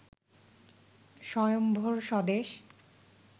স্বয়ম্ভর স্বদেশ